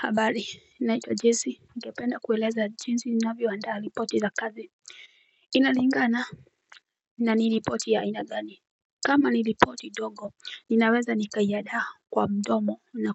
Habari naitwa jessy. Ningependa kueleza jinsi ninavyoandaa ripoti za kazi Inalingana na ni ripoti ya aina gani kama ni ripoti ndogo ninaweza nikaiandaa kwa mdomo na